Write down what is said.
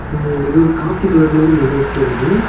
இது ஒரு coffee colour மாறி மண்டபத் தெரியிது.